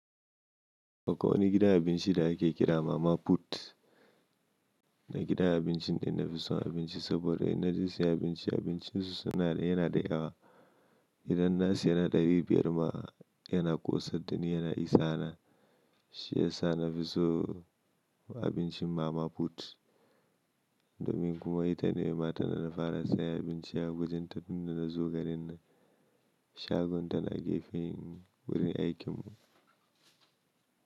Akwai wani gidan abinci da ake kira Mama Put. Na gidan abincin da ina fi son abinci saboda in naje sayan abinci, abincin su yana da yawa. Idan na siya na naira dari biyar ma yana ƙosar, dani yana isa na. Shi yasa na fi so abincin Mama Put. Domin kuma ita ne matar da na fara sayan abinci a wajen ta tun da na zo garin nan. Shagon ta na gefen wurin aikin mu.